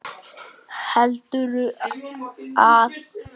Heldurðu að það hafi hjálpað?